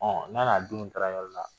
'Ɔ n'a n'a denw taa la yɔrɔ wɛrɛ la.